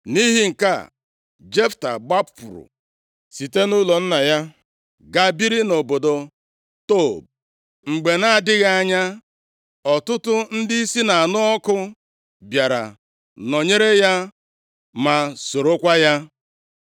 Nʼihi nke a, Jefta gbapụrụ site nʼụlọ nna ya, gaa biri nʼobodo Tob. Mgbe na-adịghị anya, ọtụtụ ndị isi na-anụ ọkụ bịara nọnyere ya ma sorokwa ya.